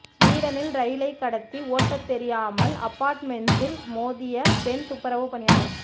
ஸ்வீடனில் ரயிலை கடத்தி ஓட்டத் தெரியாமல் அபார்ட்மென்ட்ஸில் மோதிய பெண் துப்புரவு பணியாளர்